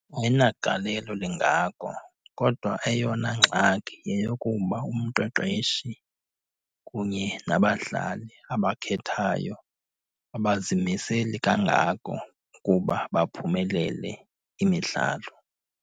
Ayinagalelo lingako, kodwa eyona ngxaki yeyokuba umqeqeshi kunye nabadlali abakhethayo abazimiseli kangako ukuba baphumelele imidlalo.